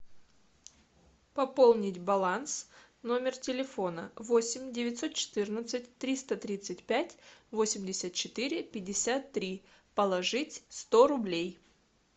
пополнить баланс номер телефона восемь девятьсот четырнадцать триста тридцать пять восемьдесят четыре пятьдесят три положить сто рублей